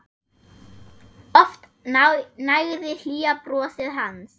Oft nægði hlýja brosið hans.